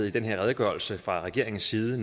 i den her redegørelse fra regeringens side